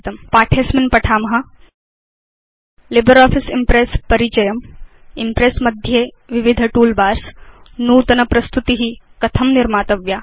अस्मिन् पाठे वयं पठाम लिब्रियोफिस इम्प्रेस् परिचयं इम्प्रेस् मध्ये विविध टूलबार्स नूतन प्रस्तुति कथं निर्मातव्या